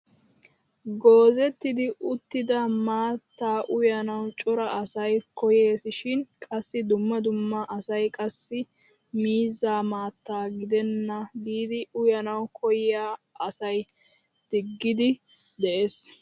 Goozettidi uttida maattaa uyanawu cora asay koyeesishin qassi dumma dumma asay qassi miizzaa maattaa gidenna giidi uyanawu koyiyaa asaa diggiidi de'ees!